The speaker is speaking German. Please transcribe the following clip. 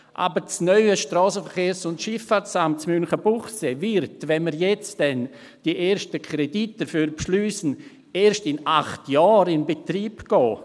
Aber das neue SVSA in Münchenbuchsee wird, wenn wir jetzt dann die ersten Kredite dafür beschliessen, erst in acht Jahren in Betrieb gehen.